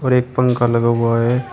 एक पंख लगा हुआ है।